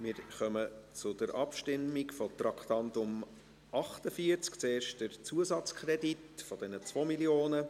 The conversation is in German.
Wir kommen zur Abstimmung über Traktandum 48, zuerst der Zusatzkredit von 2 Mio. Franken.